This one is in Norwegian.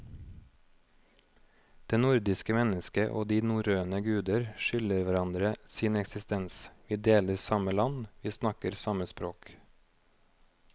Det nordiske mennesket og de norrøne guder skylder hverandre sin eksistens, vi deler samme land, vi snakker samme språk.